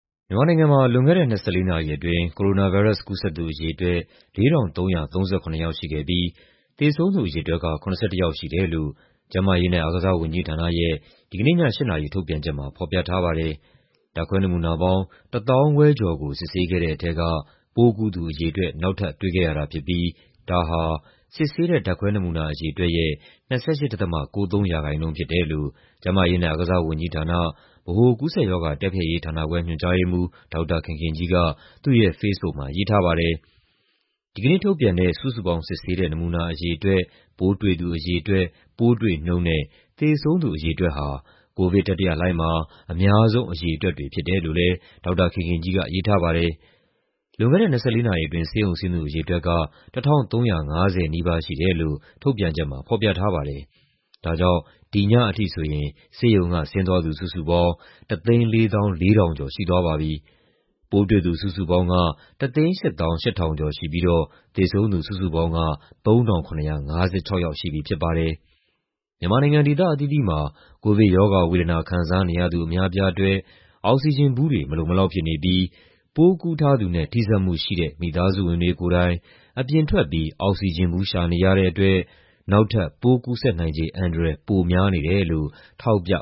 မြန်မာနိုင်ငံမှာ လွန်ခဲ့တဲ့ ၂၄ နာရီအတွင်း ကိုရိုနာဗိုင်းရပ်စ် ကူးစက်သူအရေအတွက် ၄,၃၃၇ ယောက်ရှိခဲ့ပြီး သေဆုံးသူအရေအတွက်က ၇၁ ယောက်ရှိတယ်လို့ ကျန်းမာရေးနဲ့ အားကစားဝန်ကြီးဌာနရဲ့ ဒီကနေ့ည ၈ နာရီ ထုတ်ပြန်ချက်မှာ ဖော်ပြထားပါတယ်။ ဓာတ်ခွဲနမူနာပေါင်း ၁၅,၁၂၈ ခုကို စစ်ဆေးခဲ့တဲ့ထဲက ပိုးကူးသူအရေအတွက် နောက်ထပ်တွေ့ခဲ့ရတာဖြစ်ပြီး ဒါဟာ စစ်ဆေးတဲ့ ဓာတ်ခွဲနမူနာ အရေအတွက်ရဲ့ ၂၈.၉၃ ရာခိုင်နှုန်းဖြစ်တယ်လို့ ကျန်းမာရေးနဲ့ အားကစားဝန်ကြီးဌာန၊ ဗဟိုကူးစက်ရောဂါ တိုက်ဖျက်ရေးဌာနခွဲ ညွှန်ကြားရေးမှူး ဒေါက်တာခင်ခင်ကြီးက သူ့ရဲ့ဖေ့စ်ဘုတ်မှာ ရေးထားပါတယ်။ ဒီကနေ့ထုတ်ပြန်တဲ့ စုစုပေါင်းစစ်ဆေးတဲ့ နမူနာအရေအတွက်၊ ပိုးတွေ့သူအရေအတွက်၊ ပိုးတွေ့နှုန်းနဲ့ သေဆုံးသူအရေအတွက်ဟာ ကိုဗစ်တတိယလှိုင်းမှာ အများဆုံး အရေအတွက်တွေ ဖြစ်တယ်လို့လည်း ဒေါက်တာခင်ခင်ကြီးက ရေးထားပါတယ်။ လွန်ခဲ့တဲ့ ၂၄ နာရီအတွင်း ဆေးရုံဆင်းသူ အရေအတွက်က ၁,၃၄၉ ယောက်ရှိတယ်လို့ ထုတ်ပြန်ချက်မှာ ဖော်ပြထားပါတယ်။ ဒါကြောင့် ဒီညအထိဆိုရင် ဆေးရုံကဆင်းသွားသူ စုစုပေါင်း ၁၄၄,၈၀၉ ယောက်ရှိသွားပြီ ဖြစ်ပါတယ်။ ပိုးတွေ့သူ စုစုပေါင်းက ၁၈၈,၇၅၂ ယောက်ရှိပြီဖြစ်ပြီးတော့ သေဆုံးသူ စုစုပေါင်းက ၃,၇၅၆ ယောက်ရှိပြီ ဖြစ်ပါတယ်။ မြန်မာနိုင်ငံ ဒေသအသီးသီးမှာ ကိုဗစ်ရောဂါဝေဒနာ ခံစားနေရသူ အများအပြားအတွက် အောက်ဆီဂျင်ဘူးတွေ မလုံမလောက်ဖြစ်နေပြီး ပိုးကူးထားသူနဲ့ ထိစပ်မှုရှိတဲ့ မိသားစုဝင်တွေကိုယ်တိုင် အပြင်ထွက်ပြီး အောက်ဆီဂျင်ဘူး ရှာနေရတဲ့အတွက် နောက်ထပ် ပိုးကူးစက်နိုင်ခြေ အန္တရာယ် ပိုများနေတယ်လို့ ထောက်ပြ